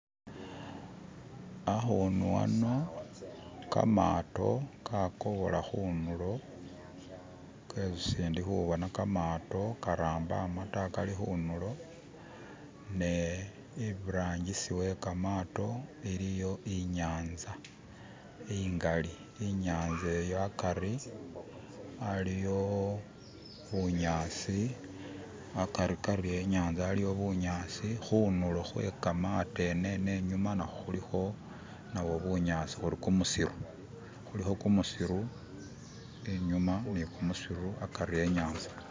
Akhunu aano kamaato kakobola khunulo kesindikhubona kamaato karambama ta kali khunulo ne iburangi'si we kamaato iliyo inyatsa ingali, inyanza iyo akari aliyo bunyasi akarikari enyanza aliwo bunyasi khunulo kwekamaato eneno inyuma nakho khulikho nabo bunyasi uri kumusiru. khulikho kumusiru inyuma ni kumusiru akari enyanza.